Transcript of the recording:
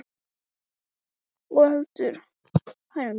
Og heldur ósennileg staðhæfing: PANAMA HLUTI AF STÓRFENGLEIK INDLANDS.